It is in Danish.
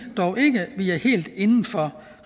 er helt inden for